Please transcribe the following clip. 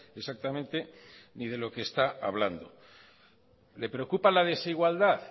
exactamente ni de lo que está hablando le preocupa la desigualdad